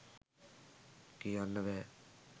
කියන්න බෑ.